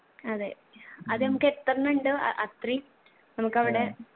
അതെ അത് നമ്മക്കെത്രണ്ണണ്ട് അഹ് അത്രേം നമ്മുക്കവിടെ